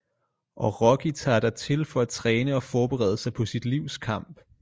Og rocky tager dertil for at træne og forberede sig på sit livs kamp